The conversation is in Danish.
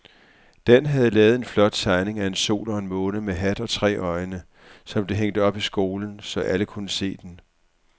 Dan havde lavet en flot tegning af en sol og en måne med hat og tre øjne, som blev hængt op i skolen, så alle kunne se den.